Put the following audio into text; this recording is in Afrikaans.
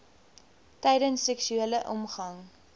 tydens seksuele omgang